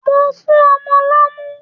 Mò ń fún ọmọ lọ́mú.